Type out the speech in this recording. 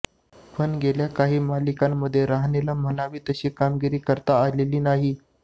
पण गेल्या काही मालिकांमध्ये रहाणेला म्हणावी तशी कामगिरी करता आलेली नाही